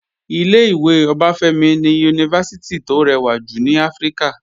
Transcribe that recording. Ilé-ìwé Ọbáfẹ́mi ni Yunifásítì tó rẹwà jù ní Áfíríkà